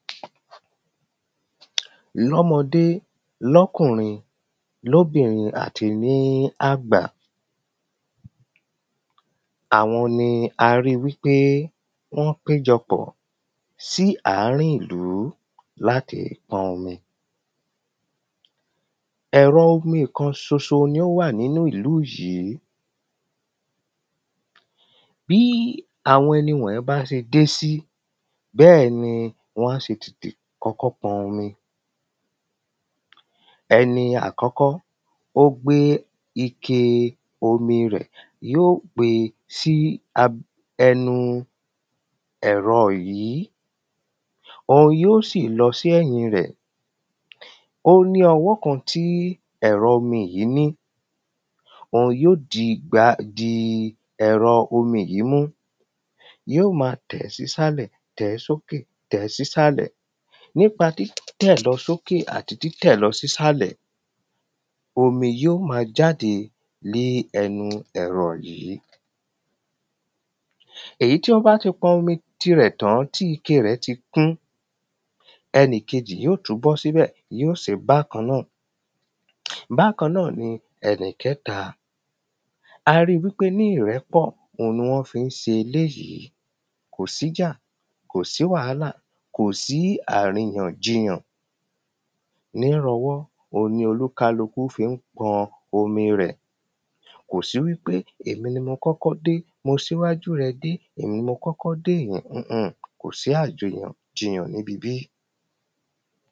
Ní ọmọdé ní ọkùnrin ní obìnrin àti ní àgbà Àwọn ni a rí wípé wọ́n péjọpọ̀ sí àárín ìlú láti pọn omi Ẹ̀rọ omi kan ṣoṣo ni ó wà nínu ìlú yìí Bí àwọn ẹni wọnyìí bá ṣe dé sí bẹ́ẹ̀ ni wọ́n á ṣe tètè kọ́kọ́ pọn omi Ẹni àkọ́kọ́ ó gbé ike omi rẹ̀ yóò gbe sí ẹnu ẹ̀rọ yìí Òhun yóò sì lọ sí ẹ̀yìn rẹ̀ Ó ní ọwọ́ kan tí ẹ̀rọ omi yìí ní Òun yóò di ẹ̀rọ omi yìí mú Yóò máa tẹ̀ ẹ́ sí ìsàlẹ̀ tẹ̀ ẹ́ sókè tẹ̀ ẹ́ sí ìsàlẹ̀ Nípa títẹ̀lọsókè àti títẹ̀lọsísàlẹ̀ Omi yóò máa jáde ní ẹnu ẹ̀rọ yìí Èyí tí wọ́n bá ti pọn omi tirẹ̀ tán tí ike rẹ̀ ti kún ẹnìkejì yóò tún bọ́ sí ibẹ̀ yóò ṣeé bákan náà Bákan náà ni ẹnìkẹ́ta A rí i wípé ni ìrẹ́pọ̀ òun ni wọ́n fi ń ṣe eléyì Kò sí ìjà kò sí wàhálà kò sí àríyànjiyàn Ní rọwọ́ òun ni olúkálùkù fi ń pọn omi rẹ̀ Kò sí wípé ẹ̀mi ni mo kọ́kọ́ dé mo ṣíwájú rẹ dé èmi ni mo kọ́kọ́ dé Ewé yìí máa ń dá àbò bo àgbàdo ni ara kí ó tó di pé ó gbé ọmọ